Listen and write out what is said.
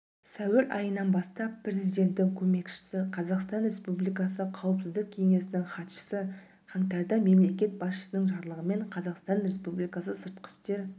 сәуірайынан бастап президенттің көмекшісі қазақстан республикасы қауіпсіздік кеңесінің хатшысы қантардамемлекет басшысының жарлығымен қазақстан республикасы сыртқы істер